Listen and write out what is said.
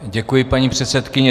Děkuji, paní předsedkyně.